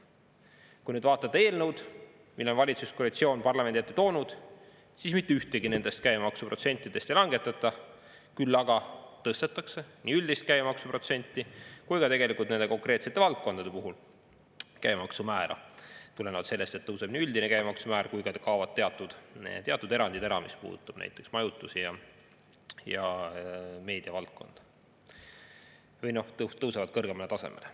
Kui nüüd vaatate eelnõu, mille valitsuskoalitsioon on parlamendi ette toonud, siis mitte ühtegi nendest käibemaksuprotsentidest ei langetata, küll aga tõstetakse nii üldist käibemaksuprotsenti kui ka konkreetsete valdkondade puhul käibemaksu määra, tulenevalt sellest, et tõuseb üldine käibemaksu määr ja kaovad ära teatud erandid, see puudutab näiteks majutusi ja meediavaldkonda, või noh, need tõusevad kõrgemale tasemele.